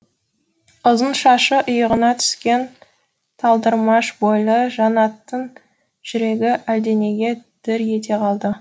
ұзын шашы иығына түскен талдырмаш бойлы жаннаттың жүрегі әлденеге дір ете қалды